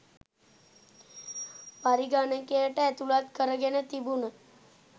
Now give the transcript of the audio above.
පරිගණකයට ඇතුළත් කරගෙන තිබුණ